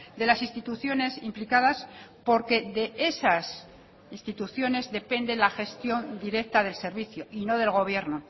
de las instituciones implicadas porque de esas instituciones depende lagestión directa del servicio y no del gobierno